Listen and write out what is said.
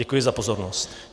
Děkuji za pozornost.